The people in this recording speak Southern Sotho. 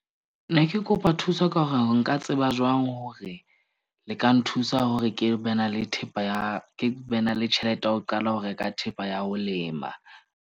Ne ke kopa thuso ka hore nka tseba jwang hore le ka nthusa hore ke be na le thepa, ya ke be na le tjhelete ya ho qala ho reka thepa ya ho lema.